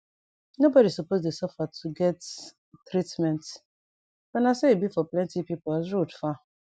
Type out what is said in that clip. no bodi suppose dey sufa to get treatment but na so e be for plenti pipu as road far